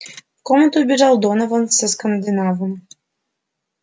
комнату вбежал донован со скандинавом